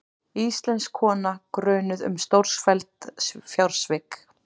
Íslensk kona grunuð um stórfelld fjársvik